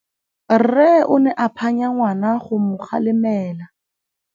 Rre o ne a phanya ngwana go mo galemela.